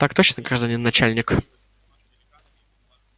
так точно гражданин начальник